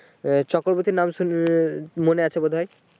ওই চক্রবতী নামশুনবি মনে আছে বোধহয় ।